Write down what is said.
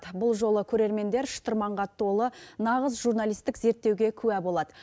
бұл жолы көрермендер шытырманға толы нағыз журналистік зерттеуге куә болады